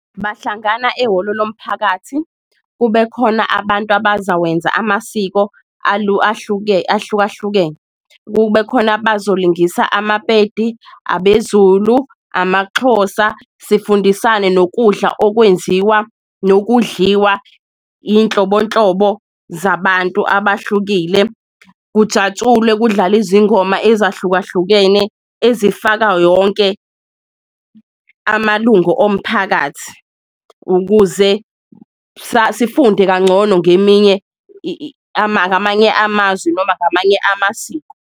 Bahlangana ehholo lomphakathi kube khona abantu abazawenza amasiko ahlukahlukene, kube khona bazolingisa amaPedi, abeZulu, amaXhosa sifundisane nokudla okwenziwa nokudliwa iyinhlobonhlobo zabantu abahlukile. Kujatshulwe kudlale izingoma ezahlukahlukene ezifaka yonke amalungu omphakathi, ukuze sifunde kangcono ngeminye ngamanye amazwi noma ngamanye amasiko.